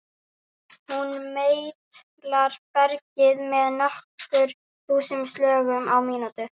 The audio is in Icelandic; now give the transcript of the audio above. Hún meitlar bergið með nokkur þúsund slögum á mínútu.